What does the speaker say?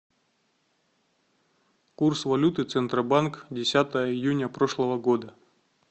курс валюты центробанк десятое июня прошлого года